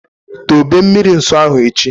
Dobe mmiri nsọ ahụ echi!